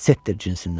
Setdir cinsindən.